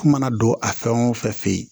Ko mana don a fɛn o fɛn f'e ye